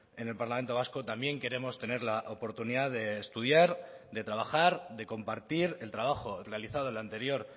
en el parlamento vasco también queremos tener la oportunidad de estudiar de trabajar de compartir el trabajo realizado en la anterior